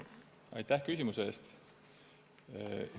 Aitäh küsimuse eest!